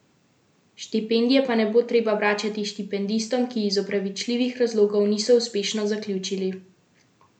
Štipendije pa ne bo treba vračati štipendistom, ki iz opravičljivih razlogov niso uspešno zaključili letnika.